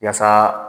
Yaasa